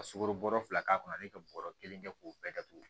Ka sugoro bɔrɔ fila k'a kɔnɔ ale bɛ bɔrɔ kelen kɛ k'o bɛɛ datugu